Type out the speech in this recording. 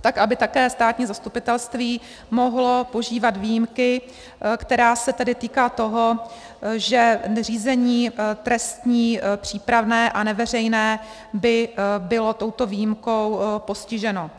tak aby také státní zastupitelství mohlo požívat výjimky, která se tady týká toho, že řízení trestní, přípravné a neveřejné by bylo touto výjimkou postiženo.